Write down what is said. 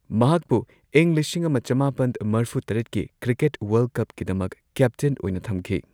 ꯃꯍꯥꯛꯄꯨ ꯏꯪ ꯂꯤꯁꯤꯡ ꯑꯃ ꯆꯃꯥꯄꯟꯃꯔꯐꯨ ꯇꯔꯦꯠꯀꯤ ꯀ꯭ꯔꯤꯀꯦꯠ ꯋꯥꯔꯜꯗ ꯀꯞꯀꯤꯗꯃꯛ ꯀꯦꯞꯇꯦꯟ ꯑꯣꯏꯅ ꯊꯝꯈꯤ꯫